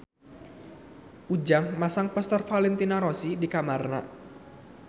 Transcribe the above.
Ujang masang poster Valentino Rossi di kamarna